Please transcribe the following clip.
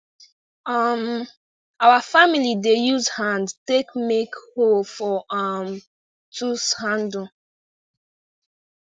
um our family dey use hand take make hole for um tools handle